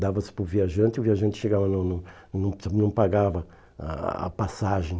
Dava-se para o viajante e o viajante chegava e não não não não pagava a a passagem.